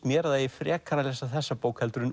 mér að það eigi frekar að lesa þessa bók heldur en